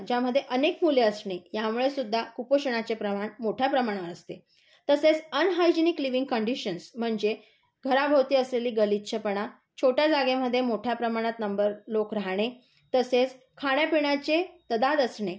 ज्यामध्ये अनेक मुले असणे, यामुळे सुद्धा कुपोषणाचे प्रमाण मोठ्या प्रमाणावर असते. तसेच अनहयाजेणीक लिविंग कंडिशन्स म्हणजे घराभोवती असलेला गलिच्छपणा, छोट्या जागेमध्ये मोठ्या प्रमाणात नंबर लोक राहणे, तसेच खाण्यापिण्याची तदाद असणे,